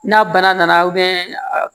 N'a bana nana